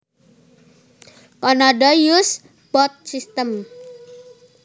Canada uses both systems